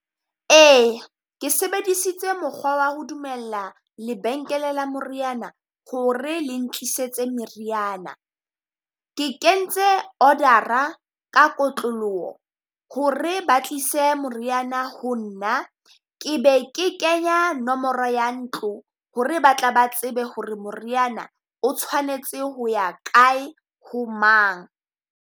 Ee, ke sebedisitse mokgwa wa ho dumella lebenkele la moriana ho re le ntlisetse meriana. Ke kentse order-a ka kotloloho ho re ba tlise moriana ho nna, ke be ke kenya nomoro ya ntlo ho re ba tla ba tsebe ho re moriana o tshwanetse ho ya kae, ho mang.